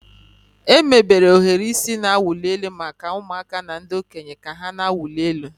Emebere ohiri isi na-awụ elu maka ụmụaka na ndị okenye ka ha na-awụli elu.